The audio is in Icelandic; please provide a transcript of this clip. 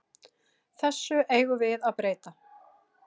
Þessu eigum við að breyta.